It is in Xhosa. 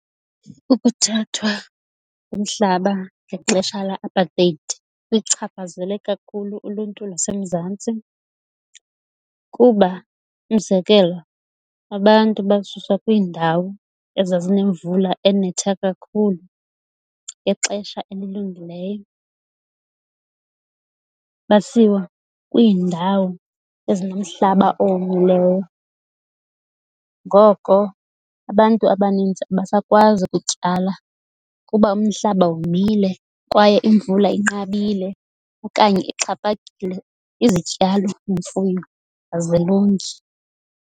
Ukuthathwa umhlaba ngexesha le-apartheid kuyichaphazele kakhulu uluntu lwaseMzantsi, kuba umzekelo abantu basuswa kwiindawo ezazinemvula enetha kakhulu ngexesha elilungileyo basiwa kwiindawo ezinomhlaba owomileyo. Ngoko abantu abaninzi abasakwazi ukutyala kuba umhlaba womile kwaye imvula inqabile okanye ixhaphakile, izityalo imfuyo azilungi.